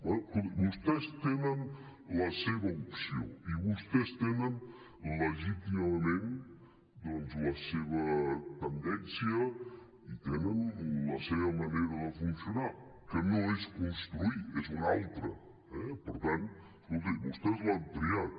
bé escolti vostès tenen la seva opció i vostès tenen legítimament la seva tendència i tenen la seva manera de funcionar que no és construir és una altra eh per tant escolti vostès l’han triat